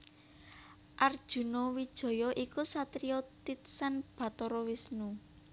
Arjuna Wijaya iku satriya titsan Bathara Wisnu